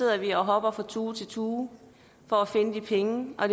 at vi hopper fra tue til tue for at finde penge og